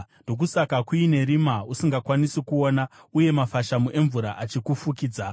ndokusaka kuine rima usingakwanisi kuona, uye mafashamu emvura achikufukidza.